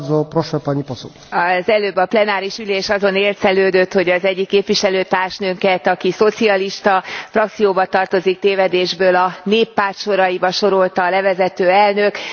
Elnök Úr, az előbb a plenáris ülés azon élcelődött, hogy az egyik képviselőtársnőnket, aki a szocialista frakcióba tartozik, tévedésből a néppárt soraiba sorolta a levezető elnök.